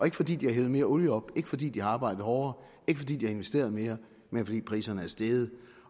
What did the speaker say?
ikke fordi de har hentet mere olie op ikke fordi de har arbejdet hårdere ikke fordi de har investeret mere men fordi priserne er steget